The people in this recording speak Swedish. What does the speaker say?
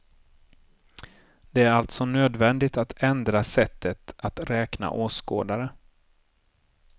Det är alltså nödvändigt att ändra sättet att räkna åskådare.